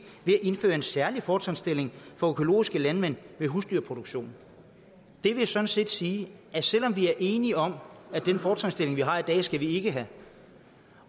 ved at indføre en særlig fortrinsstilling for økologiske landmænd med husdyrproduktion det vil sådan set sige at selv om vi er enige om at den fortrinsstilling vi har i dag skal vi ikke have